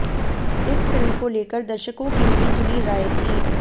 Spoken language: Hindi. इस फिल्म को लेकर दर्शकों की मिली जुली राय थी